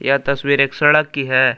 यह तस्वीर एक सड़क की है।